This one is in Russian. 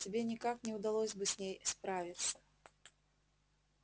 тебе никак не удалось бы с ней справиться